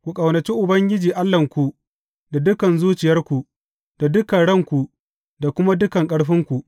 Ku ƙaunaci Ubangiji Allahnku da dukan zuciyarku, da dukan ranku, da kuma dukan ƙarfinku.